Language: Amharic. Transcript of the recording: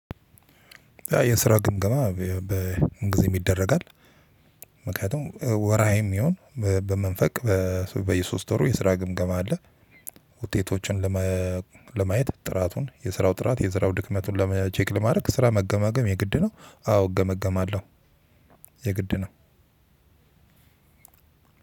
የስራ ግምገማ በምንግዜም ይደረጋል። ምክንያቱም ወራይህም ይሁን በመንፈቅ በየሶስት ወሩ የስራ ግምገማ አለ። ውጤቶችን ለመ ለማየት ጥራቱን የስራው ጥራት የስራው ድክመቱን ቼክ ለማድረግ ስራ መገማገም የግድ ነው። አዎ እገመገማለሁ። የግድ ነው።